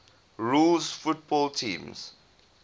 rules football teams